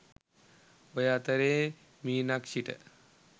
ඔය අතරෙ මීනක්ෂිට